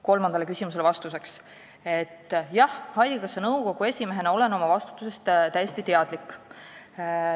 " Kolmandale küsimusele vastuseks, et jah, haigekassa nõukogu esimehena olen oma vastutusest täiesti teadlik.